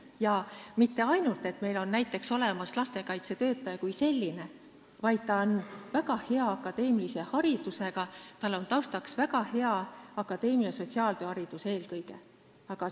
Ei aita ainult sellest, et on olemas lastekaitsetöötaja kui selline, vaid ta peab olema väga hea akadeemilise haridusega, eelkõige väga hea akadeemilise sotsiaaltööhariduse taustaga.